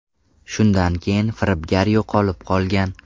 Shundan keyin firibgar yo‘qolib qolgan.